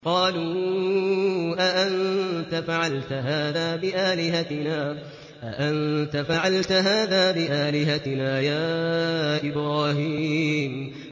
قَالُوا أَأَنتَ فَعَلْتَ هَٰذَا بِآلِهَتِنَا يَا إِبْرَاهِيمُ